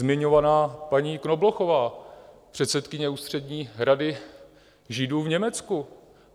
Zmiňovaná paní Knoblochová, předsedkyně Ústřední rady Židů v Německu.